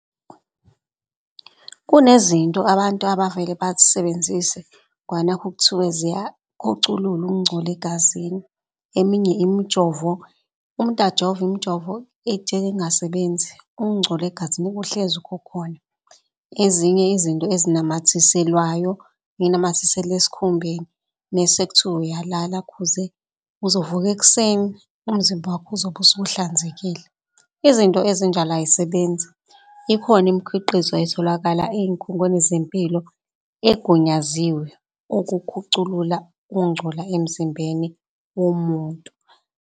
Kunezinto abantu abavele ngoba nakhu kuthiwe ziyakhuculula ukungcola egazini. Eminye imjovo, umuntu ajove imjovo ijike ingasebenzi ukungcola egazini kuhlezi kukhona. Ezinye izinto ezinamathiselwayo, uyinamathisele esikhumbeni mese kuthiwa uyalala khuze uzovuka ekuseni umzimba wakho uzobe usuhlanzekile. Izinto ezinjalo ayisebenzi ikhona imikhiqizo etholakala ey'khungweni zempilo egunyaziwe ukukhuculula ukungcola emzimbeni womuntu.